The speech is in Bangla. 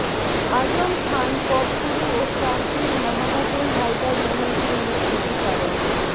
আজম খান পপগুরু ও ক্রান্তির মাহবুবুল হায়দার মোহনকে নিয়ে স্মৃতিচারন